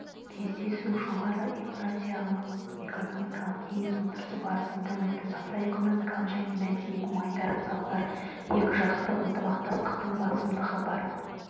кездесу жоғары еуразиялық экономикалық кеңес отырысы барысында өтті сауда-экономикалық және мәдени-гуманитарлық салалар екіжақты ынтымақтастықтың басымдығы бар